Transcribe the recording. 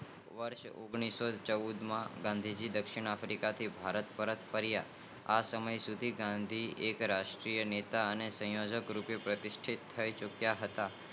વર્ષ ઓગાણિસોચૌદ માં ગાંધી જી દક્ષિણ આફ્રિકા થી ભારત પરત ફરિયા આ સમયસુધી ગાંધી જી રાષ્ટ્રીય નેતા અને સંયોજક રૂપે પ્રતિસિંધ થઇ ચુક્યા હતા